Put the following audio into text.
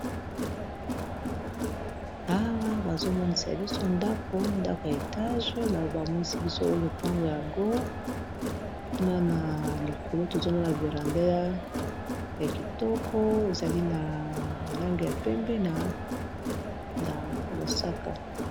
Awa bazomonisa biso ndako ndako ya etage na bamonisi biso olopango yango kuna na likolo tozomona veranda ya kitoko ezali na bolange ya pembe na mosaka